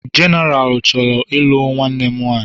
Genaralu chọrọ ịlụ nwanne m nwanyị.